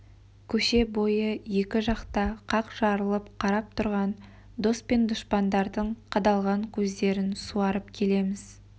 көше бойы екі жақта қақ жарылып қарап тұрған дос пен дұшпандардың қадалған көздерін суарып келеміз